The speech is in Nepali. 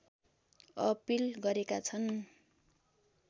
अपिल गरेका छन्